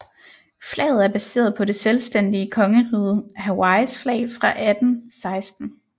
Flaget er baseret på det selvstændige Kongeriget Hawaiis flag fra 1816